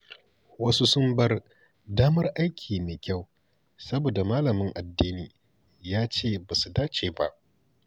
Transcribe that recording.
Wasu sun bar damar aiki mai kyau saboda malamin addini ya ce ba su dace ba.